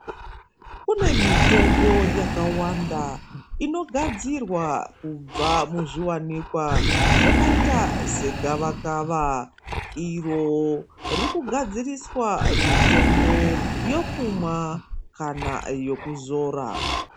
Kune mitombo yakawanda inogadzirwa kubva muzviwanikwa zvakaita segavakava iro ririkugadziriswa mitombo yokumwa kana yokuzora.